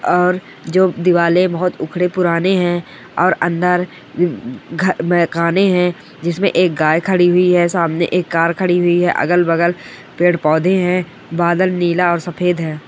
और दीवारे बहुत उखड़े पुराने है और अंदर जिसमे एक गाय खड़ी हुई है सामने एक कार खड़ी हुई है आगल बगल पेड़ पौधे है बादल नीला और सफेद है।